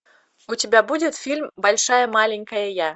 у тебя будет фильм большая маленькая я